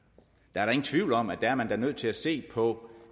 der er ingen tvivl om at man da er nødt til at se på